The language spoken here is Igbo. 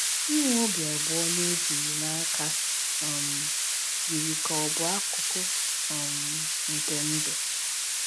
Inwe obi abụọ na ejighị n’aka um yiri ka ọ bụ akụkụ um nke ndụ.